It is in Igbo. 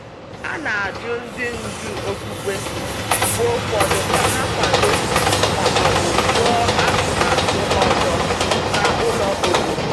A na-ajụ ndị ndu okpukpe mgbe ụfọdụ ka ha kwado ma ọ bụ jụ atụmatụ ụzọ na ụlọ obodo.